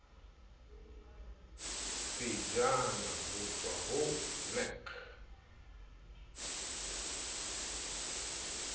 pejana ho tswa ho nac